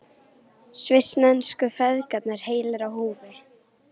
Svissnesku feðgarnir heilir á húfi